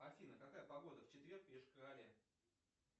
афина какая погода в четверг в йошкар оле